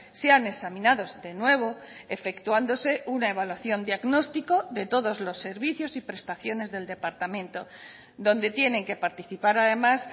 sean examinados de nuevo efectuándose una evaluación diagnóstico de todos los servicios y prestaciones del departamento donde tienen que participar además